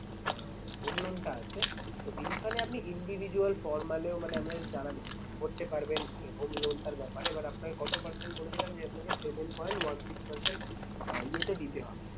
আহ home loan টা আছে তো এইখানে আপনি individual formal এও মানে আমাদের দ্বারা করতে পারবেন। এই home loan টার ব্যাপারে এবার আপনাকে কত percent বলেছিলাম যে আপনাকে seven point one six percent আহ ইয়েতে দিতে হবে।